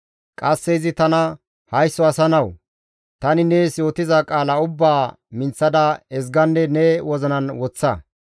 Qasse izi tana, «Haysso asa nawu! Tani nees yootiza qaala ubbaa minththada ezganne ne wozinan woththa.